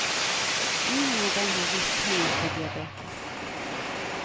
Ingen av dem har vist tegn på diabetes.